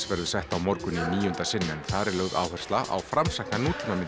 verður sett á morgun í níunda sinn en þar er lögð áhersla á framsækna